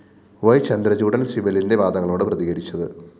യ്‌ ചന്ദ്രചൂഡന്‍ സിബലിന്‍റെ വാദങ്ങളോട് പ്രതികരിച്ചത്